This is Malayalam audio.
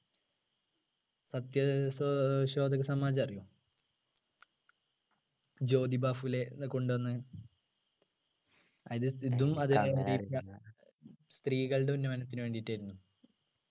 സത്യ ഏർ സോ ശോദക സമാജം അറിയോ ജ്യോതിബാഹുലെ കൊണ്ടുവന്ന് അയിൻ്റെ ഇതും സ്ത്രീകളുടെ ഉന്നമനത്തിനു വേണ്ടിയിട്ടായിരുന്നു